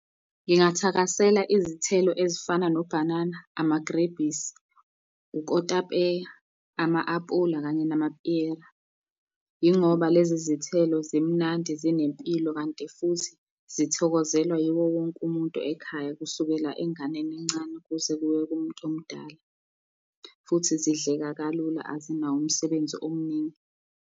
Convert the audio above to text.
Ngingathakasela izithelo ezifana nobhanana, amagrebhisi, ukotapeya, ama-apula kanye namapiyela. Yingoba lezi zithelo zimnandi zinempilo kanti futhi zithokozelwa yiwo wonke umuntu ekhaya, kusukela enganeni encane kuze kube kumuntu omdala, futhi zidleka kalula azinawo umsebenzi omningi.